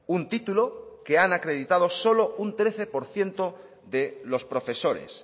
un título que han acreditado solo un trece por ciento de los profesores